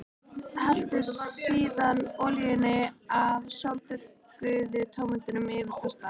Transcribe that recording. Helltu síðan olíunni af sólþurrkuðu tómötunum yfir pastað.